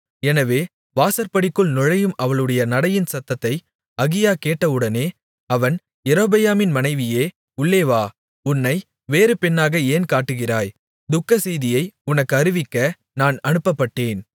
எனவே வாசற்படிக்குள் நுழையும் அவளுடைய நடையின் சத்தத்தை அகியா கேட்டவுடனே அவன் யெரொபெயாமின் மனைவியே உள்ளே வா உன்னை வேறு பெண்ணாக ஏன் காட்டுகிறாய் துக்கசெய்தியை உனக்கு அறிவிக்க நான் அனுப்பப்பட்டேன்